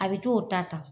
A bɛ t'o ta ta